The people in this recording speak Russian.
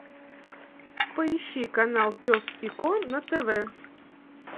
поищи канал пес и ко на тв